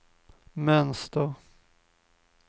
mönster